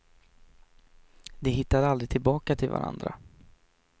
De hittade aldrig tillbaka till varandra.